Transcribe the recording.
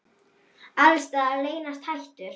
Alls staðar leynast hættur.